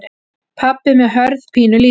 Pabbi með Hörð pínulítinn.